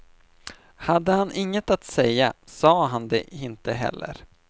Hade han inget att säga, sa han det inte heller.